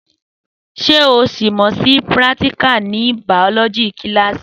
Sẹ òsímòsí píràtíkà ní bàọlọjí kílàsí?